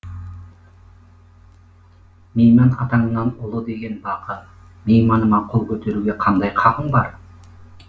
мейман атаңнан ұлы деген бақы мейманыма қол көтеруге қандай хақың бар